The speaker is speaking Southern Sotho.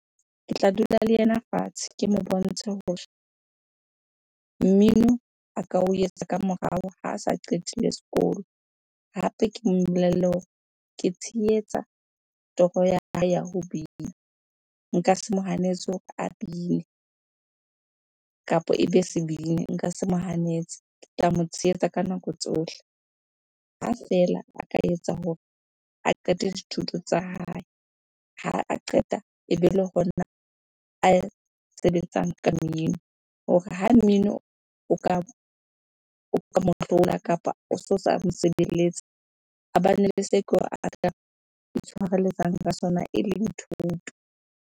Ke tla dula le ena fatshe ke mo bontshe hore mmino a ka o etsa ka morao ha a sa qetile sekolo. Hape ke mo bolelle hore ke tshehetsa toro ya hae ya ho bina. Nka se mo hanetse hore a bine kapa ebe sebini, nka se mo hanetse. Ke tla mo tshehetsa ka nako tsohle ha feela a ka etsa hore a qete dithuto tsa hae. Ha a qeta ebe le hona a sebetsang ka mmino hore ha mmino o ka o kapa oso sa mo sebeletse, a bane le itshwarelletsang ka sona eleng thuto.